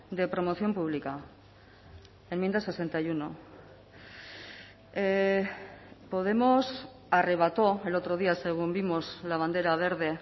de promoción pública enmienda sesenta y uno podemos arrebató el otro día según vimos la bandera verde